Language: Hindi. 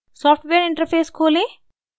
सॉफ्टवेयर interface खोलें